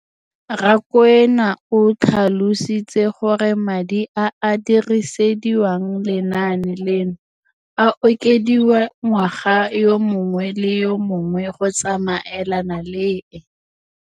Rakwena o tlhalositse gore madi a a dirisediwang lenaane leno a okediwa ngwaga yo mongwe le yo mongwe go tsamaelana le